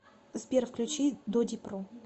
сбер включи додипро